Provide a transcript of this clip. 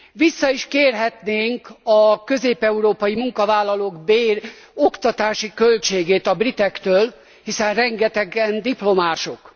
Vissza is kérhetnénk a közép európai munkavállalók bér és oktatási költségét a britektől, hiszen rengetegen diplomások.